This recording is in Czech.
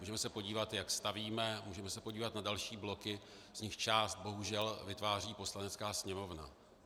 Můžeme se podívat, jak stavíme, můžeme se podívat na další bloky, z nichž část bohužel vytváří Poslanecká sněmovna.